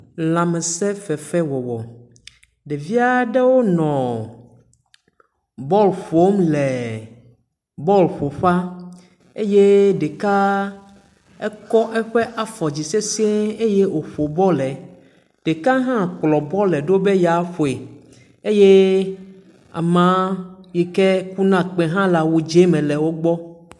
Lãmesẽfefewɔwɔ. Ɖevi aɖewo le bɔɔl ƒom le bɔɔl ƒoƒea. Eye ɖeka ekɔ eƒe afɔ dzi sesiẽ eye wòƒo bɔlɛ. Ɖeka hã kplɔ bɔlɛ ɖo be yeaƒoe eye amaa yi ke kuna kpẽ hã le awu dzẽ me wogbɔ